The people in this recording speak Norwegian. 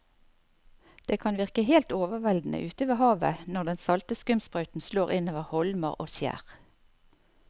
Det kan virke helt overveldende ute ved havet når den salte skumsprøyten slår innover holmer og skjær.